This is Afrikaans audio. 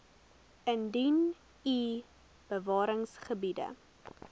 indien u bewaringsgebiede